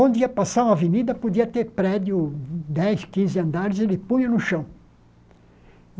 Onde ia passar uma avenida, podia ter prédio, dez, quinze andares, ele punha no chão.